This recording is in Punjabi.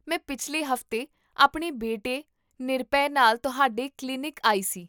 ਮੈਂ ਪਿਛਲੇ ਹਫ਼ਤੇ ਆਪਣੇ ਬੇਟੇ ਨਿਰਭੈ ਨਾਲ ਤੁਹਾਡੇ ਕਲੀਨਿਕ ਆਈ ਸੀ